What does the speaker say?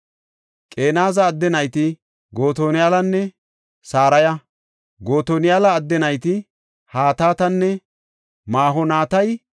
Qeneza adde nayti Gotoniyalanne Saraya; Gotoniyala adde nayti Hatatanne Ma7onotaya.